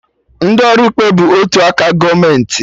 Ndị ọrụ ikpe bụ otu aka gọọmenti